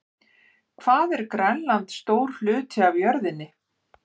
Hvað er Grænland stór hluti af jörðinni?